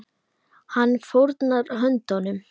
Hann fórnar höndum.